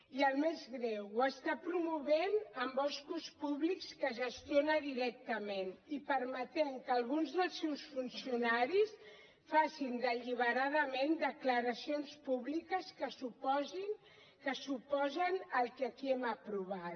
i el més greu ho està promovent amb boscos públics que gestiona directament i permetent que alguns dels seus funcionaris facin deliberadament declaracions públiques que s’oposen al que aquí hem aprovat